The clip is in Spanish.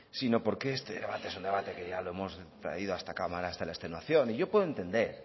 sino porque este debate es un debate que ya lo hemos traído a esta cámara hasta la extenuación y yo puedo entender